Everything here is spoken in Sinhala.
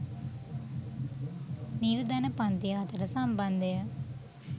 නිර්ධන පංතිය අතර සම්බන්ධය